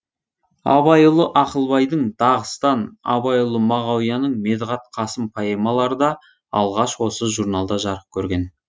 абайұлы ақылбайдың дағыстан абайұлы мағауияның медғат қасым поэмалары да алғаш осы журналда жарық көрген